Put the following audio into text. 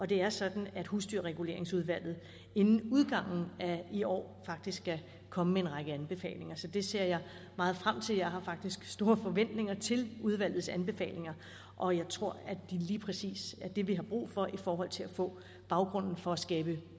det er sådan at husdyrreguleringsudvalget inden udgangen af i år faktisk skal komme med en række anbefalinger så det ser jeg meget frem til jeg har faktisk store forventninger til udvalgets anbefalinger og jeg tror at det lige præcis er det vi har brug for i forhold til at få baggrunden for at skabe